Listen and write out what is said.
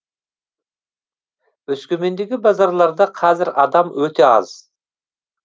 өскемендегі базарларда қазір адам өте аз